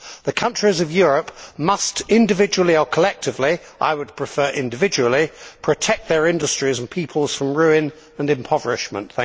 The countries of Europe must individually or collectively I would prefer individually protect their industries and peoples from ruin and impoverishment.